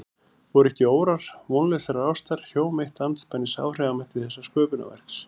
Voru ekki órar vonlausrar ástar hjóm eitt andspænis áhrifamætti þessa sköpunarverks?